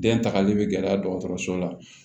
Den tagali bɛ gɛlɛya dɔgɔtɔrɔso la